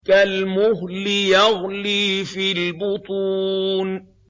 كَالْمُهْلِ يَغْلِي فِي الْبُطُونِ